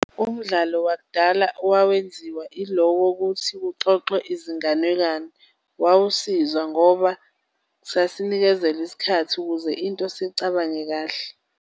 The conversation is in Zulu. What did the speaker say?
Umdlalo wakudala owawenziwa ilo wokuthi kuxoxwe izinganekwane, wawusiza ngoba sasinikezelwa isikhathi ukuze into siyicabange kahle.